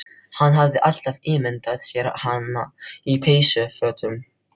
Hann hafði alltaf ímyndað sér hana á peysufötum